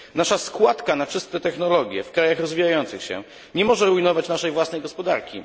Nasza składka na czyste technologie w krajach rozwijających się nie może rujnować naszej własnej gospodarki.